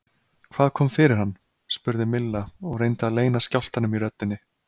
Hvað kom fyrir hann? spurði Milla og reyndi að leyna skjálftanum í röddinni.